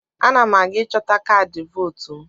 Ana m aga ịchọta kaadị vootu m.